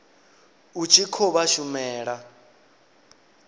u tshi khou vha shumela